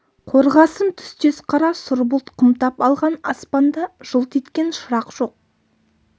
қорғасын түстес қара сұр бұлт қымтап алған аспанда жылт еткен шырақ жоқ